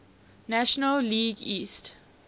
national league east